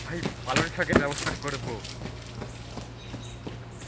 ভাই পালং শাকের ব্যবস্থা করব.